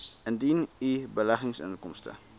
indien u beleggingsinkomste